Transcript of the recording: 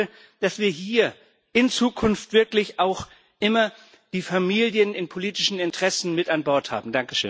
Aber ich hoffe, dass wir hier in Zukunft wirklich auch immer die Familien bei den politischen Interessen mit an Bord haben.